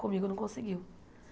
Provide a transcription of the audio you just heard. Comigo não conseguiu.